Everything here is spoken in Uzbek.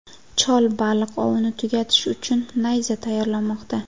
Chol baliq ovini tugatish uchun nayza tayyorlamoqda.